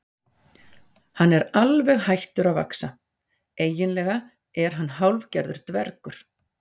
Hann er alveg hættur að vaxa, eiginlega er hann hálfgerður dvergur